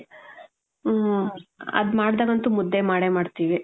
ಮ್ಮ್. ಅದ್ ಮಾಡ್ದಗ್ ಅಂತು ಮುದ್ದೆ ಮಾಡೇ ಮಾಡ್ತಿವಿ